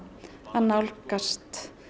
að nálgast